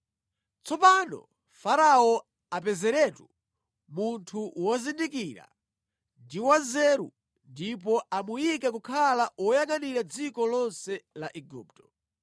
“Tsopano Farao apezeretu munthu wozindikira ndi wanzeru ndipo amuyike kukhala woyangʼanira dziko lonse la Igupto.